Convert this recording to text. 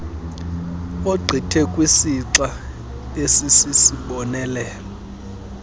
ogqithe kwisixa esisisibonelelo